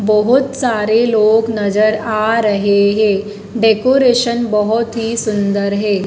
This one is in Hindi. बहोत सारे लोग नजर आ रहे हैं डेकोरेशन बहोत ही सुंदर है।